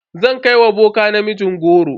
Zan kai wa boka ne namijin goron.